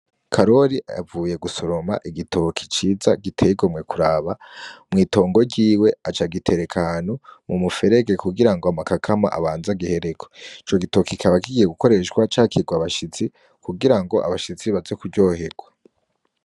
Karori avuye gusoroma igitoke ciza giteye igomwe kuraba mw’itongo ryiwe acagitereka ahantu mu muferege kugira ngo amakakama abanze agihereko. Ico gitoke kikaba kigiye gukoreshwa cakirwa abashitsi baze kuryoherwa.